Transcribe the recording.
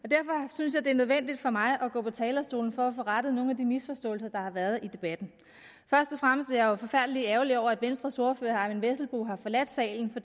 synes jeg det er nødvendigt for mig at gå på talerstolen for at få rettet nogle af de misforståelser der har været i debatten først og fremmest er jeg jo forfærdelig ærgerlig over at venstres ordfører herre eyvind vesselbo har forladt salen for